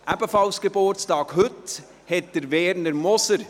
Ebenfalls heute Geburtstag hat Werner Moser.